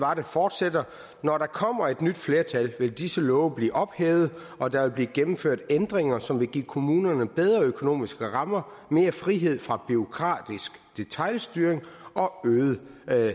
fortsætter når der kommer et nyt flertal vil disse love blive ophævet og der vil blive gennemført ændringer som vil give kommunerne bedre økonomiske rammer mere frihed fra bureaukratisk detailstyring og øget